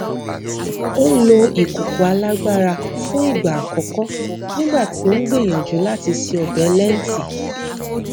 ó lo ìkòkò alágbára fún ìgbà àkọkọ nígbà tí ó ń gbìyànjú láti se ọbẹ lẹńtì